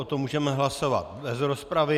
O tom můžeme hlasovat bez rozpravy.